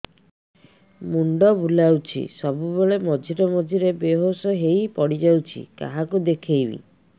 ମୁଣ୍ଡ ବୁଲାଉଛି ସବୁବେଳେ ମଝିରେ ମଝିରେ ବେହୋସ ହେଇ ପଡିଯାଉଛି କାହାକୁ ଦେଖେଇବି